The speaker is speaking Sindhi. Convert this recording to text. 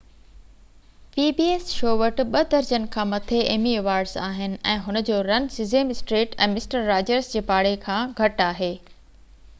pbs شو وٽ ٻہ درجن کان مٿي ايمي ايوارڊز آهن ۽ هن جو run Sesame Street ۽ Mister Rogers جي پاڙي کان گهٽ آهي